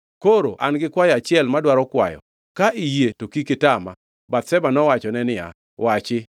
Koro an gi kwayo achiel madwaro kwayo. Ka iyie to kik itama.” Bathsheba nowachone niya, “Wachi.”